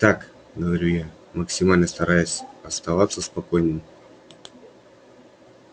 так говорю я максимально стараясь оставаться спокойной